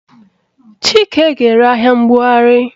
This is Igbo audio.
Chike ga-ere ahịa mbugharị